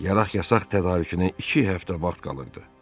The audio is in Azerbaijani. Yaraq-yasaq tədarükünə iki həftə vaxt qalırdı.